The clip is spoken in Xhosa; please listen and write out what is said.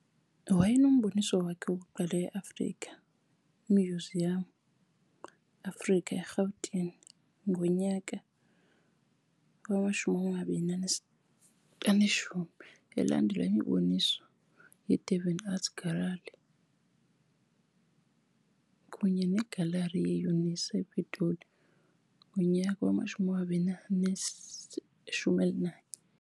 Wayenomboniso wakhe wokuqala Afrika eMuseum Africa, eRhawutini ngo-2010, elandelwa yimiboniso kwiDurban Art Gallery, kunye negalari yeUNISA, ePitoli, ngo-2011.